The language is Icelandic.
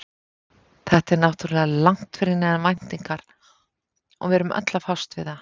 Þetta er náttúrulega langt fyrir neðan væntingar og við erum öll að fást við það.